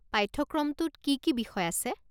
পাঠ্যক্ৰমটোত কি কি বিষয় আছে?